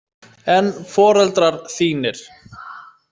En foreldrar þínir?